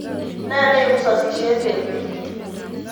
Ne neipu sosyet eng' piik?